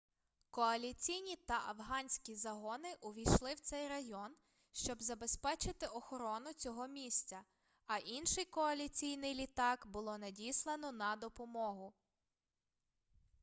коаліційні та афганські загони увійшли в цей район щоб забезпечити охорону цього місця а інший коаліційний літак було надіслано на допомогу